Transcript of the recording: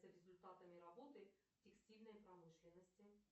за результатами работы текстильной промышленности